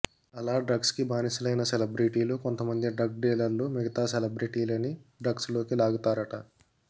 అలా డ్రగ్స్ కి బానిసలైన సెలబ్రెటీలు కొంతమంది డ్రగ్ డీలర్లు మిగితా సెలబ్రెటీలని డ్రగ్స్ లోకి లాగుతారట